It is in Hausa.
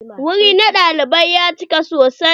Wuri na naɗin ya cika sosai.